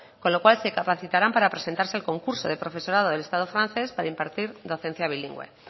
con lo cual se capacitaran para presentarse al concurso de profesorado del estado francés para impartir docencia bilingüe